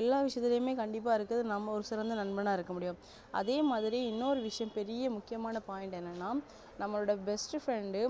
எல்லா விஷயத்துலயுமே கண்டிப்பா இருக்கிறது நம்ம ஒரு சிறந்த நண்பனா இருக்க முடியும் அதே மாதிரி இன்னொரு விஷயம் பெரிய முக்கியமான point என்னனா நம்மலுடைய best friend டு